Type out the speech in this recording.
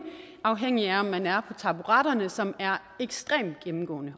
afhængigt af om man er taburetterne som er ekstremt gennemgående